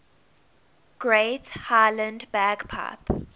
great highland bagpipe